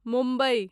Mumbai